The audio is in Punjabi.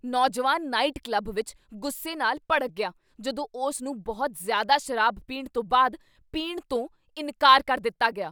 ਨੌਜਵਾਨ ਨਾਈਟ ਕਲੱਬ ਵਿੱਚ ਗੁੱਸੇ ਨਾਲ ਭੜਕ ਗਿਆ ਜਦੋਂ ਉਸ ਨੂੰ ਬਹੁਤ ਜ਼ਿਆਦਾ ਸ਼ਰਾਬ ਪੀਣ ਤੋਂ ਬਾਅਦ ਪੀਣ ਤੋਂ ਇਨਕਾਰ ਕਰ ਦਿੱਤਾ ਗਿਆ।